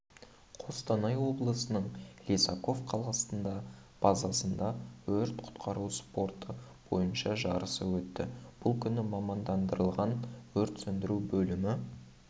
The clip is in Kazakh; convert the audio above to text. қостанай облысының лисаков қаласында базасында өрт-құтқару спорты бойынша жарысы өтті бұл күні мамандандырылған өрт сөндіру бөлімі